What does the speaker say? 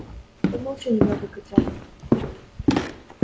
помолчи немного котёнок